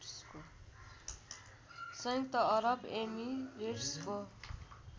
संयुक्त अरव इमिरेट्सको